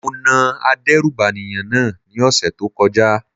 Mo na adérùbànìyàn náà ní ọ̀sẹ̀ tó kọjá.